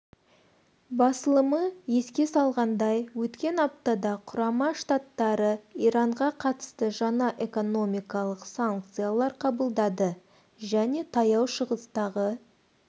басылымы еске салғандай өткен аптада құрама штаттары иранға қатысты жаңа экономикалық санкциялар қабылдады және таяу шығыстағы